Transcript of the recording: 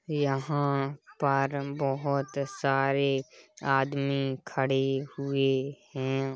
यहाँ पर बहोत सारे आदमी खड़े हुए हैं।